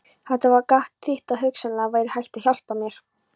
Þetta gat þýtt að hugsanlega væri hægt að hjálpa mér.